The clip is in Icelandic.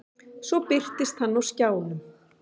Svo birtist hann á skjánum.